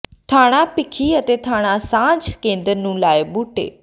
ਥਾਣਾ ਭੀਖੀ ਅਤੇ ਥਾਣਾ ਸਾਂਝ ਕੇਂਦਰ ਨੇ ਲਾਏ ਬੂਟੇ